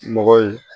Mɔgɔ ye